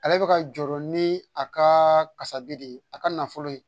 Ale bɛ ka jɔrɔ ni a ka kasabi de ye a ka nafolo